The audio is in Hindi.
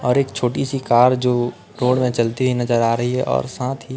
और एक छोटी सी कार जो रोड में चलती है नजर आ रही है और साथ ही--